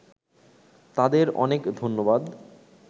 তাদের অনেক ধন্যবাদ